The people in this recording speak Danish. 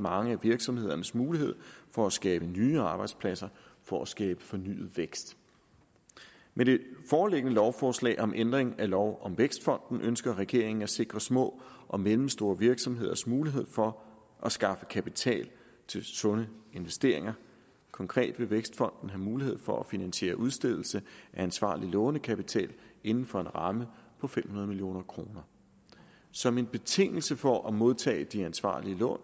mange af virksomhedernes muligheder for at skabe nye arbejdspladser for at skabe fornyet vækst med det foreliggende lovforslag om ændring af lov om vækstfonden ønsker regeringen at sikre små og mellemstore virksomheders mulighed for at skaffe kapital til sunde investeringer konkret vil vækstfonden have mulighed for at finansiere udstedelse af ansvarlig lånekapital inden for en ramme på fem hundrede million kroner som en betingelse for at modtage de ansvarlige lån